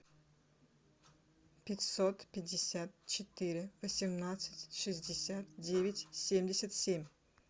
пятьсот пятьдесят четыре восемнадцать шестьдесят девять семьдесят семь